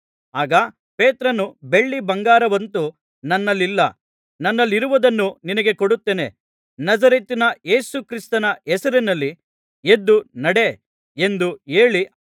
ಆಗ ಪೇತ್ರನು ಬೆಳ್ಳಿ ಬಂಗಾರವಂತೂ ನನ್ನಲ್ಲಿಲ್ಲ ನನ್ನಲ್ಲಿರುವುದನ್ನು ನಿನಗೆ ಕೊಡುತ್ತೇನೆ ನಜರೇತಿನ ಯೇಸು ಕ್ರಿಸ್ತನ ಹೆಸರಿನಲ್ಲಿ ಎದ್ದು ನಡೆ ಎಂದು ಹೇಳಿ